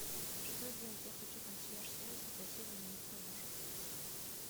что делать я хочу консьерж сервис попросить заменить подушку